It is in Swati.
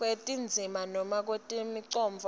kwetindzima noma kwemicondvo